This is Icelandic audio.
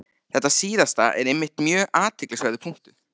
Þetta síðasta er einmitt mjög athyglisverður punktur.